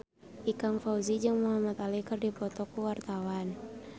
Ikang Fawzi jeung Muhamad Ali keur dipoto ku wartawan